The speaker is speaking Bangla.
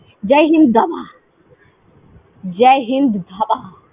Jai Hind Dhaba, Jai Hind Dhaba